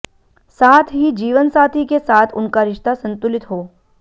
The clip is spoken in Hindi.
साथ ही जीवनसाथी के साथ उनका रिश्ता संतुलित हो